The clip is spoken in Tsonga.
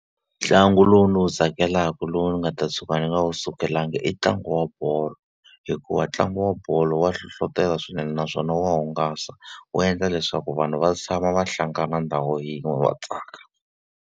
Ntlangu lowu ndzi wu tsakelaka lowu ni nga ta tshuka ni nga wu sukelangi i ntlangu wa bolo, hikuva ntlangu wa bolo wa hlohletelo swinene naswona wa hungasa. Wu endla leswaku vanhu va tshama va hlangana ndhawu yin'we va tsaka.